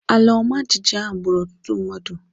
Ala ọmajiji ahụ gburu ọtụtụ mmadụ.